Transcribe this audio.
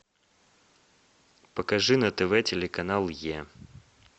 покажи на тв телеканал е